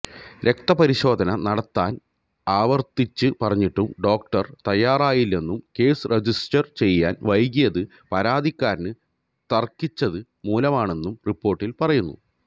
രക്തപരിശോധന നടത്താന് ആവര്ത്തിച്ച് പറഞ്ഞിട്ടും ഡോക്ടര് തയ്യാറായില്ലെന്നും കേസ് രജിസ്റ്റര് ചെയ്യാന് വൈകിയത് പരാതിക്കാരന് തര്ക്കിച്ചത് മൂലമാണെന്നും റിപ്പോര്ട്ടില് പറയുന്നു